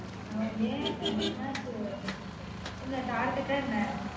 ஆஹ் ஏன்? என்னாச்சு? என்ன? Target அ என்ன